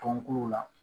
Tɔnkuluw la